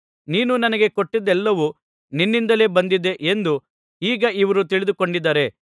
ನೀನು ನನಗೆ ಕೊಟ್ಟದ್ದೆಲ್ಲವೂ ನಿನ್ನಿಂದಲೇ ಬಂದಿದೆ ಎಂದು ಈಗ ಇವರು ತಿಳಿದುಕೊಂಡಿದ್ದಾರೆ